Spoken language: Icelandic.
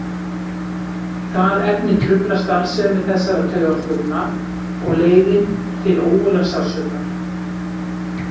Það efni truflar starfsemi þessara taugafrumna og leiðir til ógurlegs sársauka.